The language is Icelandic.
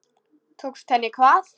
Tókst henni hvað?